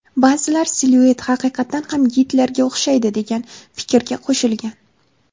Ba’zilar siluet haqiqatan ham Gitlerga o‘xshaydi, degan fikrga qo‘shilgan.